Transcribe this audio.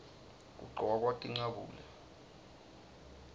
kugcokwa tincabule